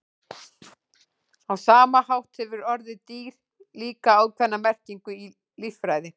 Á sama hátt hefur orðið dýr líka ákveðna merkingu í líffræði.